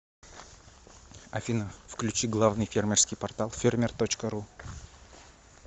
афина включи главный фермерский портал фермер точка ру